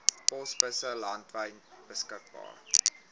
posbusse landwyd beskikbaar